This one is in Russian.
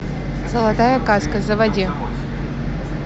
золотая каска заводи